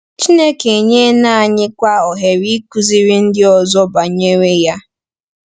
Chineke enyela anyịkwa ohere ịkụziri ndị ọzọ banyere ya.